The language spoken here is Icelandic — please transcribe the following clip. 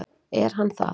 Er hann það?